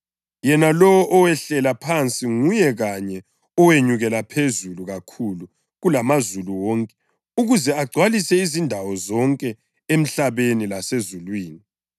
Yena lowo owehlela phansi nguye kanye owenyukela phezulu kakhulu kulamazulu wonke ukuze agcwale izindawo zonke emhlabeni lasezulwini.)